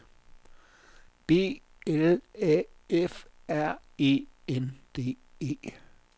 B L A F R E N D E